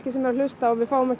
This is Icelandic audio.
að hlusta við fáum ekki